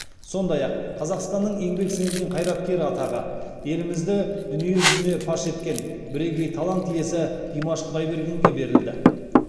сондай ақ қазақстанның еңбек сіңірген қайраткері атағы елімізді дүние жүзіне паш еткен бірегей талант иесі димаш құдайбергенге берілді